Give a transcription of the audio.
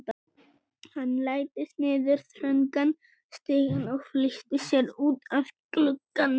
Hann læddist niður þröngan stigann og flýtti sér út að glugganum.